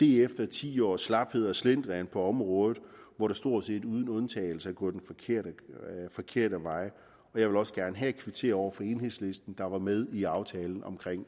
efter ti års slaphed og slendrian på området hvor det stort set uden undtagelse er gået den forkerte forkerte vej jeg vil også gerne her kvittere over for enhedslisten der var med i aftalen om